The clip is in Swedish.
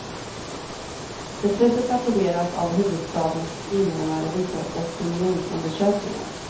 Beslutet applåderas av huvudstadens invånare, visar opinionsundersökningar.